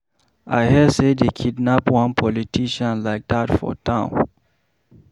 I hear say dey kidnap one politician like dat for town.